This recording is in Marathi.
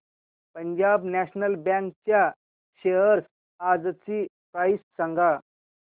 पंजाब नॅशनल बँक च्या शेअर्स आजची प्राइस सांगा